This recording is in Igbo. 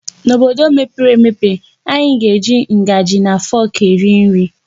N'obodo mepere emepe anyị ga-eji ngaji na fọk eri nri.